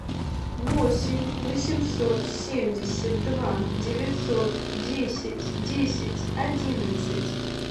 восемь восемьсот семьдесят два девятьсот десять десять одиннадцать